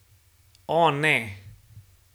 O, ne.